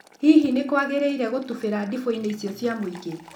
Hihi nĩkwagĩrĩire gũtubĩra ndibu inĩ cia mũingĩ?